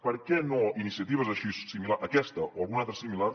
per què no iniciatives així aquesta o alguna altra similar